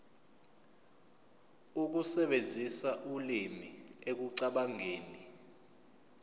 ukusebenzisa ulimi ekucabangeni